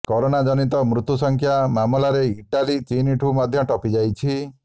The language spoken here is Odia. କରୋନା ଜନିତ ମୃତ୍ୟୁ ସଂଖ୍ୟା ମାମଲାରେ ଇଟାଲୀ ଚୀନଠୁ ମଧ୍ୟ ଟପି ଯାଇଛି